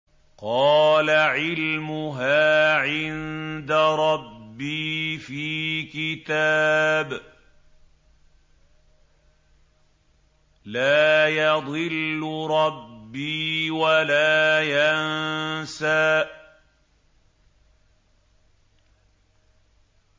قَالَ عِلْمُهَا عِندَ رَبِّي فِي كِتَابٍ ۖ لَّا يَضِلُّ رَبِّي وَلَا يَنسَى